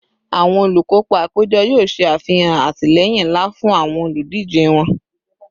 Awọn olukopa apejọ yoo ṣe afihan atilẹyin nla fun awọn oludije wọn